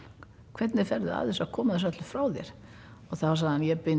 hvernig ferðu að þessu að koma þessu öllu frá þér þá sagði hann ég bind